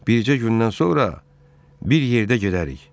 Bicə gündən sonra bir yerdə gedərik.